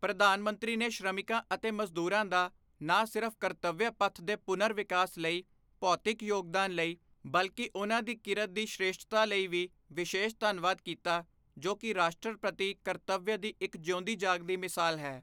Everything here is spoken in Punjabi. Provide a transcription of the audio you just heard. ਪ੍ਰਧਾਨ ਮੰਤਰੀ ਨੇ ਸ਼੍ਰਮਿਕਾਂ ਅਤੇ ਮਜ਼ਦੂਰਾਂ ਦਾ ਨਾ ਸਿਰਫ਼ ਕਰਤਵਯ ਪਥ ਦੇ ਪੁਨਰ ਵਿਕਾਸ ਲਈ ਭੌਤਿਕ ਯੋਗਦਾਨ ਲਈ, ਬਲਕਿ ਉਨ੍ਹਾਂ ਦੀ ਕਿਰਤ ਦੀ ਸ੍ਰੇਸ਼ਠਤਾ ਲਈ ਵੀ ਵਿਸ਼ੇਸ਼ ਧੰਨਵਾਦ ਕੀਤਾ, ਜੋ ਕਿ ਰਾਸ਼ਟਰ ਪ੍ਰਤੀ ਕਰਤਵਯ ਦੀ ਇੱਕ ਜਿਉਂਦੀ ਜਾਗਦੀ ਮਿਸਾਲ ਹੈ।